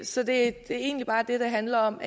så det er egentlig bare det det handler om